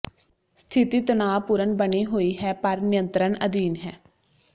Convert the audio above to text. ਸਥਿਤੀ ਤਣਾਅਪੂਰਨ ਬਣੀ ਹੋਈ ਹੈ ਪਰ ਨਿਯੰਤਰਣ ਅਧੀਨ ਹੈ